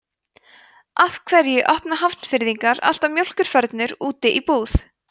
af hverju opna hafnfirðingar alltaf mjólkurfernur úti í búð